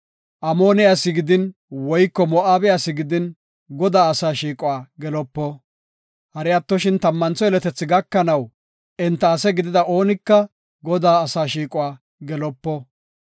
Amoone asi gidin woyko Moo7abe asi gidin, Godaa asaa shiiquwa gelopo. Hari attoshin tammantho yeletethi gakanaw enta ase gidida oonika Godaa asaa shiiquwa gelopo.